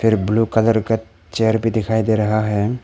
Blue colour का chair भी दिखाई दे रहा है।